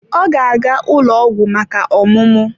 Ọ ga-aga ụlọ ọgwụ maka ọmụmụ.